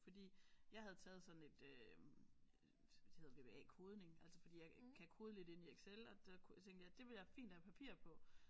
Fordi jeg havde taget sådan et øh det hedder V V A kodning fordi jeg kan kode lidt inde i Excel og der kunne tænkte jeg det kunne være fint at have papir på